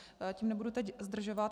Tím nebudu teď zdržovat.